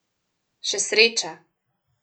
Še sreča.